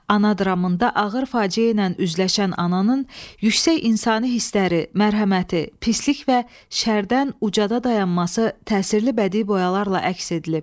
Ana dramında ağır faciə ilə üzləşən ananın yüksək insani hissləri, mərhəməti, pislik və şərdən ucada dayanması təsirli bədii boyalarla əks edilib.